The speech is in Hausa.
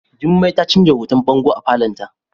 Jummai ta canza hoton bango a falon ta.